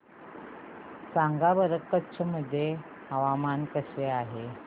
सांगा बरं कच्छ मध्ये हवामान कसे आहे